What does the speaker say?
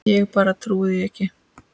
Ég bara trúi því ekki.